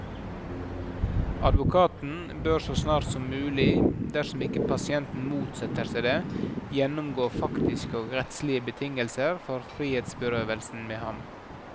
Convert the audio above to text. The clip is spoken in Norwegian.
Advokaten bør så snart som mulig, dersom ikke pasienten motsetter seg det, gjennomgå faktiske og rettslige betingelser for frihetsberøvelsen med ham.